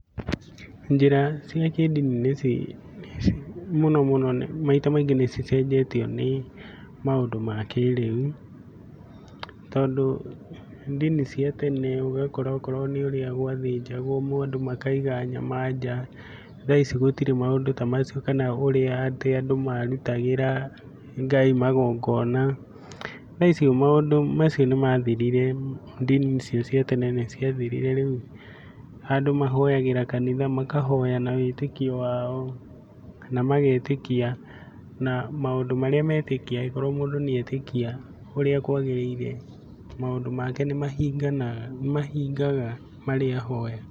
Njĩra cia kĩndini mũno mũno maita maingĩ nĩ cicenjetio nĩ maũndũ ma kĩrĩu, tondũ ndini cia tene ũgakora okorwo nĩ ũrĩa gwathĩnjagwo andũ makaiga nyama nja, tha ici gũtirĩ maũndũ ta macio kana ũrĩa atĩ andũ marutagĩra Ngai magongona, tha ici maũndũ macio nĩ mathirire, ndini icio cia tene nĩ ciathirire, rĩu andũ mahoyagĩra kanitha, makahoya na wĩtĩkio wao na magetĩkia, na maũndũ marĩa metĩkia akorwo mũndũ nĩ etĩkia ũrĩa kwagĩrĩire maũndũ make nĩ mahingaga marĩa ahoete.